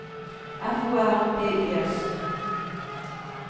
F O R B Y S